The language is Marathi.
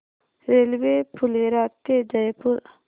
रेल्वे फुलेरा ते जयपूर